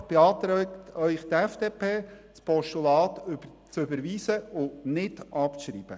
Deshalb beantragt Ihnen die FDP-Fraktion, das Postulat zu überweisen und nicht abzuschreiben.